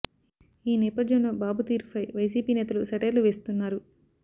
ఈ నేపథ్యంలో బాబు తీరు ఫై వైసీపీ నేతలు సెటైర్లు వేస్తుంన్నారు